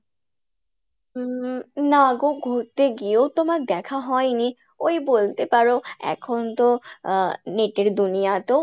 হম না গো ঘুড়তে গিয়েও তোমার দেখা হয়নি, ওই বলতে পারো এখন তো আহ net এর দুনিয়া তো